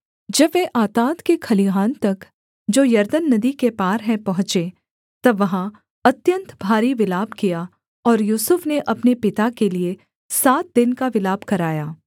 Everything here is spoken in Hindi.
जब वे आताद के खलिहान तक जो यरदन नदी के पार है पहुँचे तब वहाँ अत्यन्त भारी विलाप किया और यूसुफ ने अपने पिता के लिये सात दिन का विलाप कराया